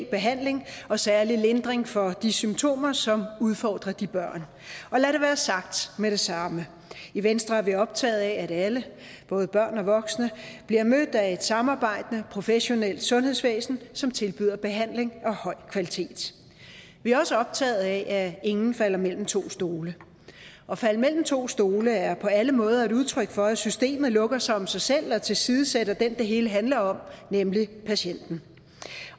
behandling og særlig lindring for de symptomer som udfordrer de børn og lad det være sagt med det samme i venstre er vi optaget af at alle både børn og voksne bliver mødt af et samarbejdende professionelt sundhedsvæsen som tilbyder behandling af høj kvalitet vi er også optaget af at ingen falder mellem to stole at falde mellem to stole er på alle måder et udtryk for at systemet lukker sig om sig selv og tilsidesætter den det hele handler om nemlig patienten